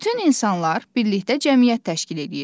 Bütün insanlar birlikdə cəmiyyət təşkil edirlər.